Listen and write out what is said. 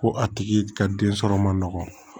Ko a tigi ka den sɔrɔ man nɔgɔn